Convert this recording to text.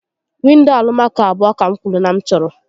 Windo Alụmaco abụọ ka m kwuru na m chọrọ